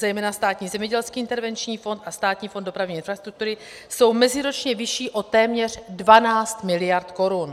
Zejména Státní zemědělský intervenční fond a Státní fond dopravní infrastruktury jsou meziročně vyšší o téměř 12 mld. korun.